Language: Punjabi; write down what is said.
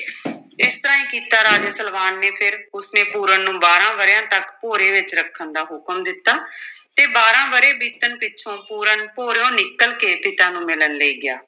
ਇਸ ਤਰ੍ਹਾਂ ਹੀ ਕੀਤਾ ਰਾਜੇ ਸਲਵਾਨ ਫਿਰ ਉਸਨੇ ਪੂਰਨ ਨੂੰ ਬਾਰਾਂ ਵਰਿਆਂ ਤੱਕ ਭੋਰੇ ਵਿੱਚ ਰੱਖਣ ਦਾ ਹੁਕਮ ਦਿੱਤਾ ਤੇ ਬਾਰਾਂ ਵਰੇ ਬੀਤਣ ਪਿੱਛੋਂ ਪੂਰਨ ਭੋਰਿਓ ਨਿਕਲ ਕੇ ਪਿਤਾ ਨੂੰ ਮਿਲਣ ਲਈ ਗਿਆ।